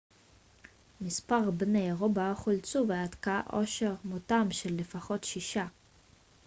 מספר בני ערובה חולצו ועד כה אושר מותם של לפחות שישה